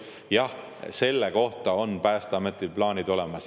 Jah, selle kohta on Päästeametil plaanid olemas.